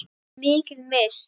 Þau hafa mikið misst.